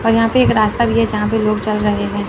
और यहां पे एक रास्ता भी है जहां पे लोग चल रहे हैं।